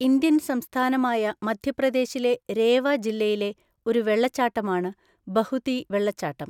Indian സംസ്ഥാനമായ മധ്യപ്രദേശിലെ രേവ ജില്ലയിലെ ഒരു വെള്ളച്ചാട്ടമാണ് ബഹുതി വെള്ളച്ചാട്ടം.